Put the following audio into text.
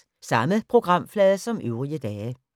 Samme programflade som øvrige dage